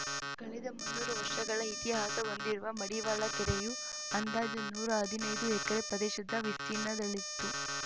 ಕಳೆದ ಮುನ್ನೂರು ವರ್ಷಗಳ ಇತಿಹಾಸ ಹೊಂದಿರುವ ಮಡಿವಾಳ ಕೆರೆಯು ಅಂದಾಜು ನೂರಾ ಹದಿನೈದು ಎಕರೆ ಪ್ರದೇಶದ ವಿಸ್ತೀರ್ಣದಲ್ಲಿತ್ತು